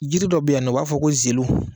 Jiri dɔ bɛ yan nɔ u b'a fɔ ko zelu.